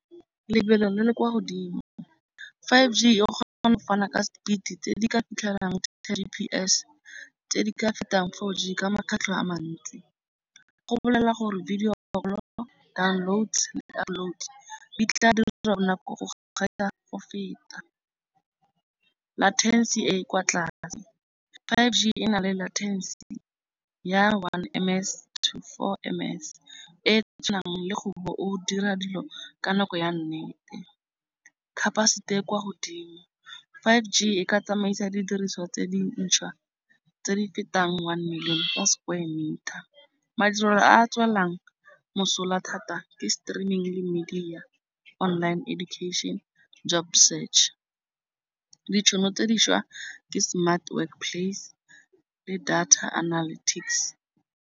Lebelo le le kwa godimo. Five G yo kgona go fana ka speed tse di ka ntlha ya T_P_S tse di ka fetang four G ka makgetlho a mantsi. Go bolelela gore video local download di tla dira go feta. Latency e e kwa tlase. Five G e na le latency ya one M_S to four M_S e e tshwanang le gore o dira dilo ka nako ya nnete. Capacity e kwa godimo. Five G e ka tsamaisa didiriswa tse di ntšhwa tse di fetang one million ka square metre. Madirelo a a tswellang mosola thata ke streaming le media, online education, job search. Ditšhono tse dišwa ke smart work plays le data analytics.